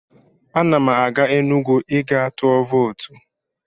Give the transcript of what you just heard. Ana m aga Enugwu ị gaa tụ vootu.